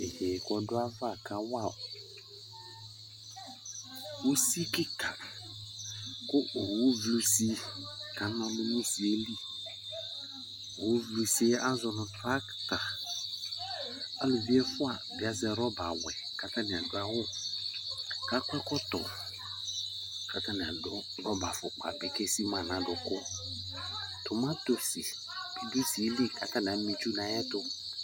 yeye k'ɔdu ava ka wa usi keka kò owu vli usi ka na ɔlu n'usi yɛ li owu vli usi yɛ azɔ no trakta aluvi ɛfua bi azɛ rɔba wɛ k'atani adu awu k'akɔ ɛkɔtɔ k'atani adu rɔba afukpa bi k'esi ma n'adukò tomati bi do usi yɛ li k'atani ama itsu n'ayi ɛto